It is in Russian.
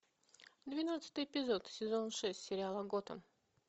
двенадцатый эпизод сезон шесть сериала готэм